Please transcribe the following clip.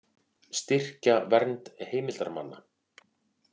Styrkja vernd heimildarmanna